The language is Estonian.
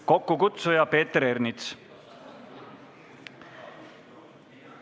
Kokkukutsuja on Peeter Ernits.